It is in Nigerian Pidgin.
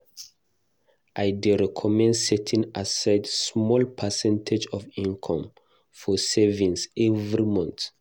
I dey recommend setting aside small percentage of income for savings every month.